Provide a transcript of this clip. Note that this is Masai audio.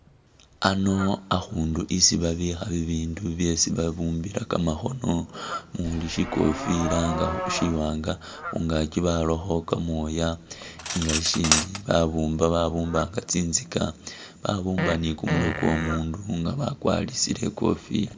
Ano akhundu isi babikha bibindu byesi babumbila kamakhono mumuuli shikofila nga shiwanga khungaaki barakho kamooya nga shisindi babumba, babumba nga tsinzika babumba ni kumurwe kw'omundu nga bakwarisile ikofila